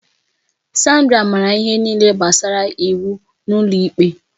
Sandra maara ihe niile gbasara iwu n'ụlọ ikpe